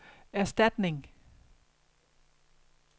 erstatning